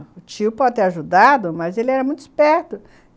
O tio pode ter ajudado, mas ele era muito esperto.